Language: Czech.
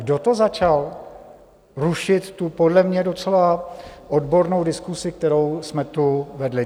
Kdo to začal rušit, tu podle mě docela odbornou diskusi, kterou jsme tu vedli?